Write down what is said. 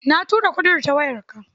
Na tura kuɗin ta wayarta.